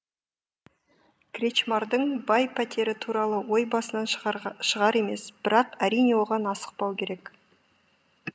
кречмардың бай пәтері туралы ой басынан шығар емес бірақ әрине оған асықпау керек